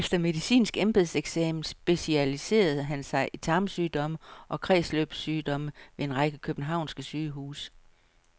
Efter medicinsk embedseksamen specialiserede han sig i tarmsygdomme og kredsløbssygdomme ved en række københavnske sygehuse.